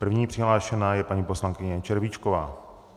První přihlášená je paní poslankyně Červíčková.